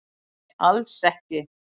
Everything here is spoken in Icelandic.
Nei nei, alls ekki